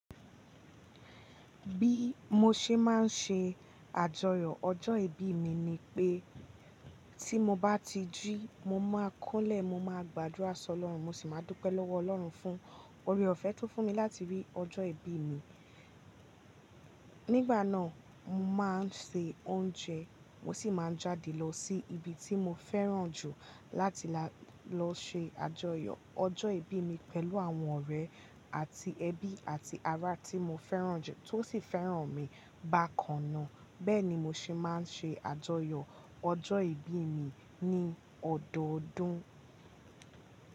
Bí mo ṣe máa ń ṣe àjọyọ̀ ọjọ́ ìbí mi ni pé tí mo bá ti jí mo máa kúnlẹ̀, mo máa gbàdúrà sọ lọ́run, mo sì máa dúpẹ́ lọ́wọ́ Ọlọ́run fún oore-ọ̀fẹ́ tó fún mi láti rí ọjọ́ ìbí mi. Nígbà náà, mo máa ń ṣe oúnjẹ, mo sì máa ń jáde lọ sí ibi tí mo fẹ́ràn jù láti lọ ṣe àjọyọ̀ ọjọ́ ìbí mi pẹ̀lú àwọn ọ̀rẹ́ àti ẹbí àti ará tí mo fẹ́ràn jù tó sì fẹ́ràn mi bákan náà. Bẹ́ẹ̀ni mo ṣe máa ń ṣe àjọyọ̀ ọjọ́ ìbí mi ní ọdọọdún.